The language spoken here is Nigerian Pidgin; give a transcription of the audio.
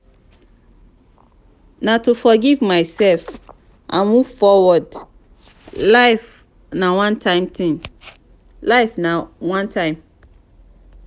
na to forgive my self and move forward life na one time.